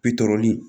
Bitɔn